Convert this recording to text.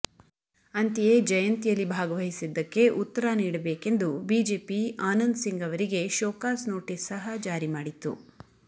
ಅಂತೆಯೇ ಜಯಂತಿಯಲ್ಲಿ ಭಾಗವಹಿಸಿದ್ದಕ್ಕೆ ಉತ್ತರ ನೀಡಬೇಕೆಂದು ಬಿಜೆಪಿ ಆನಂದ್ ಸಿಂಗ್ ಅವರಿಗೆ ಶೋಕಾಸ್ ನೋಟಿಸ್ ಸಹ ಜಾರಿ ಮಾಡಿತ್ತು